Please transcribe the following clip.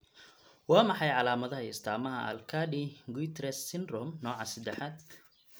Waa maxay calaamadaha iyo astaamaha Aicardi Goutieres syndrome nooca sadaxad?